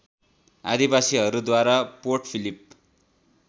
आदिवासीहरूद्वारा Port Philip